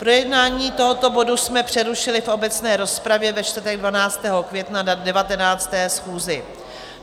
Projednávání tohoto bodu jsme přerušili v obecné rozpravě ve čtvrtek 12. května na 19. schůzi.